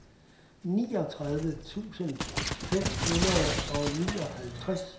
niogtredive tusind fem hundrede og nioghalvtreds